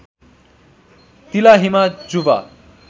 तिला हिमा जुवा